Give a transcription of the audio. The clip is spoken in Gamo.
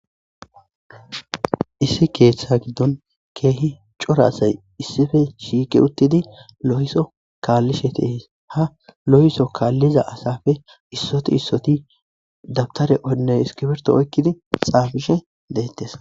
Issi keeththa giddon keehi cora asay issife shiike uttidi lo,iso kaallishe teehis ha lo,iso kaalliza asafe issoti issoti dabtare onne iskibirto oykkidi xaabishe deettes.